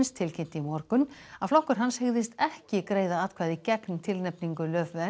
tilkynnti í morgun að flokkur hans hygðist ekki greiða atkvæði gegn tilnefningu